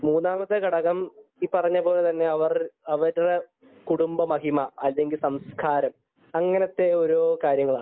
മൂന്നാമത്തെ ഘടകം ഈപറഞ്ഞതുപോലെതന്നെ അവർ അവരുടെ കുടുക്കബ മഹിമ അതിന്റെ സംസ്കാരം അങ്ങനത്തെ ഒരു കാര്യങ്ങളാണ്